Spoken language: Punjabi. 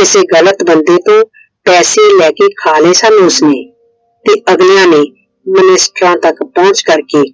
ਕਿਸੇ ਗ਼ਲਤ ਬੰਦੇ ਤੋਂ ਪੈਸੇ ਲਾਕੇ ਖਾ ਲਏ ਸੀ ਉਸਨੇ। ਤੇ ਅਗਲਿਆਂ ਨੇ ਮਿਨਿਸਟਰਾਂ ਤੱਕ ਪਹੁੰਚ ਕਰਕੇ